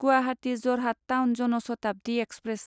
Guwahati Jorhat town Jan Shatabdi express